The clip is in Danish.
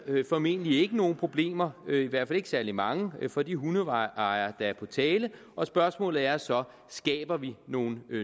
formentlig ikke nogen problemer i hvert fald ikke særlig mange for de hundeejere der er på tale og spørgsmålet er så skaber vi nogle